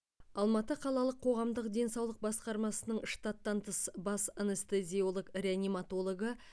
алматы қалалық қоғамдық денсаулық басқармасының штаттан тыс бас анестезиолог реаниматологы